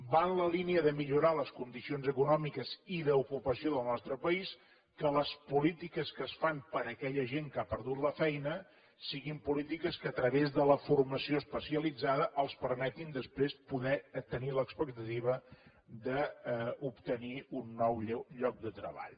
va en la línia de millorar les condicions econòmiques i d’ocupació del nostre país que les polítiques que es fan per a aquella gent que ha perdut la feina siguin polítiques que a través de la formació especialitzada els permetin després poder tenir l’expectativa d’obtenir un nou lloc de treball